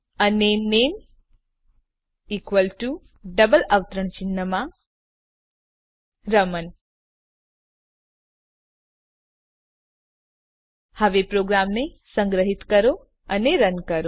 અને નામે equal to double અવતરણ ચિહ્નમાં રમણ હવે પ્રોગ્રામને સંગ્રહીત કરો અને રન કરો